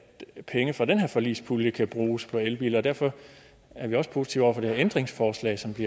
penge fra den her forligspulje kan bruges på elbiler derfor er vi også positive over for det ændringsforslag som vi